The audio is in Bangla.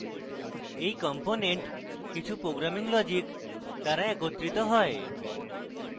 এই components কিছু programming logic দ্বারা একত্রিত হয়